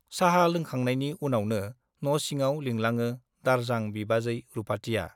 चाहा लोंखांनायनि उनावनो न' सिङाव लिंलाङो दारजां बिबाजै रुपाथिया।